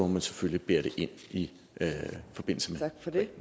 man selvfølgelig bære det ind i forbindelse